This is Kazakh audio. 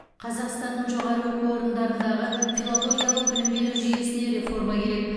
қазақстанның жоғары оқу орындарындағы филологиялық білім беру жүйесіне реформа керек